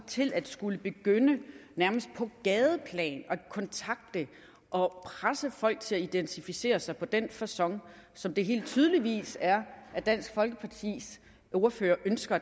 til at skulle begynde nærmest på gadeplan at kontakte og presse folk til at identificere sig på den facon som det helt tydeligvis er dansk folkepartis ordførers ønske